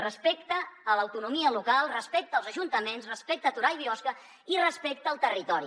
respecte a l’autonomia local respecte als ajuntaments respecte a torà i biosca i respecte al territori